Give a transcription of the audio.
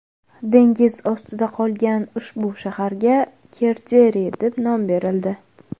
Dengiz ostida qolgan ushbu shaharga Kerderi deb nom berildi.